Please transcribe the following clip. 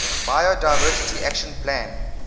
biodiversity action plan